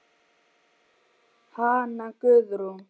Hanna Guðrún.